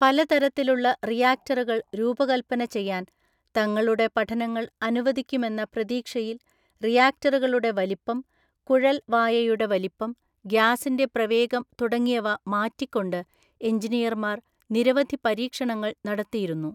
പലതരത്തിലുള്ള റിയാക്ടറുകൾ രൂപകല്പന ചെയ്യാൻ തങ്ങളുടെ പഠനങ്ങൾ അനുവദിക്കുമെന്ന പ്രതീക്ഷയിൽറിയാക്ടറുകളുടെ വലിപ്പം, കുഴൽ വായയുടെ വലിപ്പം, ഗ്യാസിന്റെ പ്രവേഗം തുടങ്ങിയവ മാറ്റിക്കൊണ്ട് എഞ്ചിനീയർമാർ നിരവധി പരീക്ഷണങ്ങൾ നടത്തിയിരുന്നു.